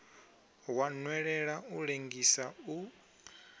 wa nwelela u lengisa u